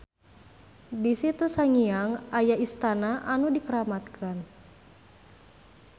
Di Situ Sangiang aya istana anu dikeramatkan.